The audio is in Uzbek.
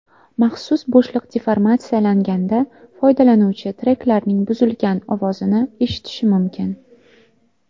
Maxsus bo‘shliq deformatsiyalanganda foydalanuvchi treklarning buzilgan ovozini eshitishi mumkin.